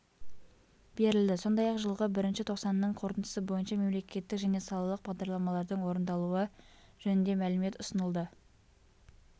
берілді сондай-ақ жылғы бірінші тоқсанның қорытындысы бойынша мемлекеттік және салалық бағдарламалардың орындалуы жөнінде мәлімет ұсынылды